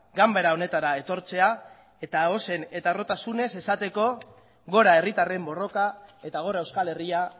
ganbara honetara etortzea eta zuzen eta harrotasunez esateko gora herritarren borroka eta gora euskal herria